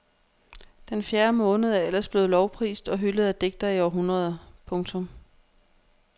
Den fjerde måned er ellers blevet lovprist og hyldet af digtere i århundreder. punktum